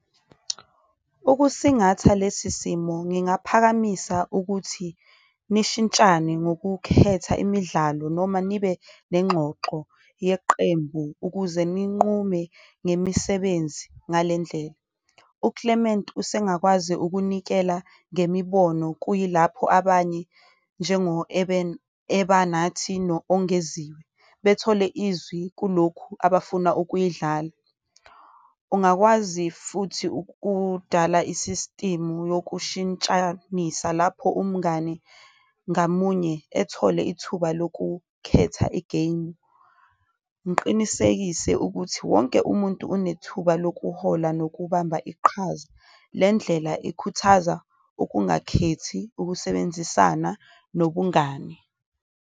Ukusingatha lesi simo ngingaphakamisa ukuthi nishintshane ngokukhetha imidlalo noma nibe nengxoxo yeqembu ukuze ninqume nemisebenzi ngalendlela. UClement usengakwazi ukunikela ngemibono, kuyilapho abanye njengo Ebanathi no-Ongeziwe bethole izwi kulokhu abafuna ukuyidlala, ungakwazi futhi ukudala isisitimu yokushintshanisa lapho umngani ngamunye ethole ithuba lokukhetha i-game. Ngiqinisekise ukuthi wonke umuntu unethuba lokuhola nokubamba iqhaza, le ndlela ikhuthaza okungakhethi, ukusebenzisana nobungane.